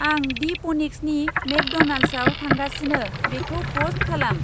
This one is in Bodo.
आं दि पनिक्सनि मेकड'नल्ड्सआव थांगासिनो बेखौ पस्ट खालाम।